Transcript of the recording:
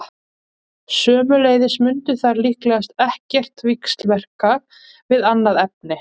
Sömuleiðis mundu þær líkast til ekkert víxlverka við annað efni.